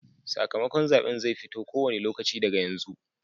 Sakamakon zaɓen zai fito ko wane lokaci daga yanzu.